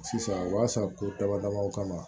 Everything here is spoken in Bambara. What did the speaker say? Sisan u b'a san ko damadamaw kama